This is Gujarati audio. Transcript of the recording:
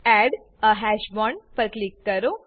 એડ એ હાશ બોન્ડ પર ક્લિક કરો